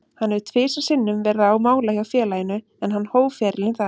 Hann hefur tvisvar sinnum verið á mála hjá félaginu, en hann hóf ferilinn þar.